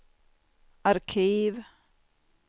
arkiv